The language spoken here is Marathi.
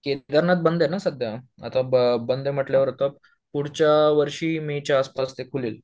केदारनाथ बंद आहे ना सध्या, आता बंद म्हटल्यावर त पुढच्या वर्षी मे च्या आसपास ते खुलेल